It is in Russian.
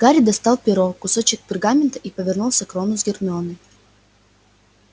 гарри достал перо кусочек пергамента и повернулся к рону с гермионой